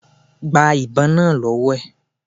Gba ìbon náà lọ́wọ́ ẹ̀.